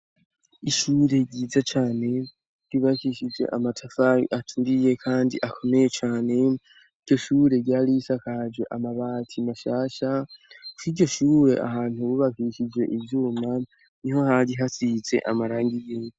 Ishure ryiza cane ribakishije amatafari aturiye, kandi akomeye cane iyo shure ryarisakaje amabati mashasha kkiryo shure ahantu bubakishije ivyuma ni ho hari hasize amaranga iyina.